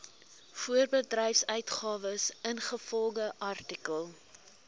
voorbedryfsuitgawes ingevolge artikel